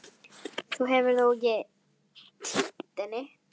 Þú hefur þó ekki. týnt henni?